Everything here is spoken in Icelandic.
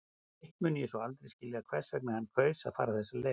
Hitt mun ég svo aldrei skilja hvers vegna hann kaus að fara þessa leið.